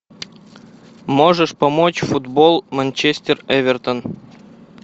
можешь помочь футбол манчестер эвертон